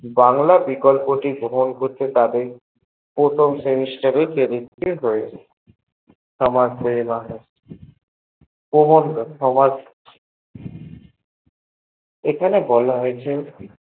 বাংলা বিকল্প টি গ্রহন করছে তাদের প্রথম semester এ credit clear হয়ছে সবার সবার এখানে বলা হয়েছে